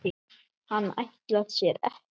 Hann ætlar sér ekkert.